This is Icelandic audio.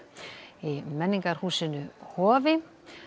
í menningarhúsinu Hofi